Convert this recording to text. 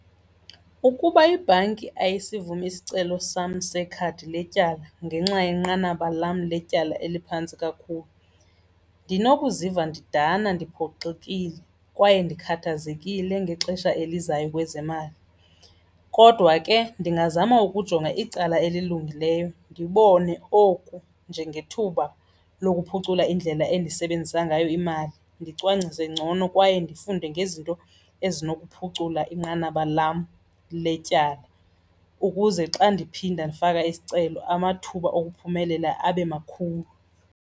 Ukuba ibhanki ayisivumi isicelo sam sekhadi letyala ngenxa yenqanaba lam letyala eliphantsi kakhulu ndinokuziva ndidana, ndiphoxekile kwaye ndikhathazekile ngexesha elizayo kwezemali. Kodwa ke ndingazama ukujonga icala elilungileyo ndibone oku njengethuba lokuphucula indlela endisebenzisa ngayo imali, ndicwangcise ngcono kwaye ndifunde ngezinto ezinokuphucula inqanaba lam letyala ukuze xa ndiphinda ndifaka isicelo amathuba okuphumelela abe makhulu.